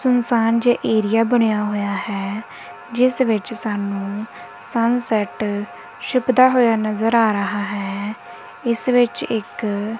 ਸੁਨਸਾਨ ਜਾ ਏਰੀਆ ਬਣਿਆ ਹੋਇਆ ਹੈ ਜਿਸ ਵਿੱਚ ਸਾਨੂੰ ਸਨ ਸੈਟ ਛਿਪਦਾ ਹੋਇਆ ਨਜ਼ਰ ਆ ਰਿਹਾ ਹੈ ਇਸ ਵਿੱਚ ਇੱਕ--